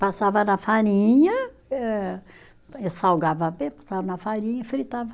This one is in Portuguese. Passava na farinha, eh salgava bem, passava na farinha e fritava.